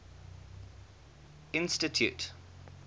institute